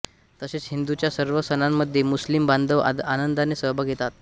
तसेच हिंदूच्या सर्व सणांमध्ये मुस्लिम बांधव आनंदाने सहभाग घेतात